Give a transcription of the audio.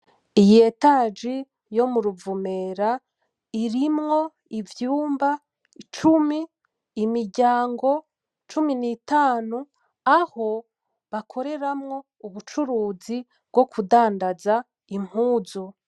Iyi etaji yo mu ruvumera irimwo ivyumba cumi imiryango ,cumi nitanu aho bakoreremwo ubucuruzi bwo kudadaza impunzu.